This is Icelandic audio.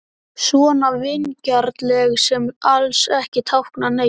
Svona vingjarnleg sem alls ekki táknaði neitt.